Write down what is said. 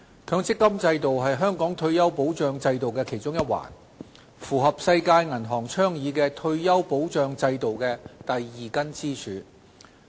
強積金制度是香港退休保障制度的其中一環，是世界銀行倡議的退休保障制度的第二根支柱。